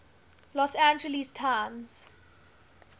los angeles times